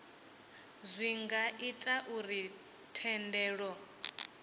zwi nga ita uri thendelo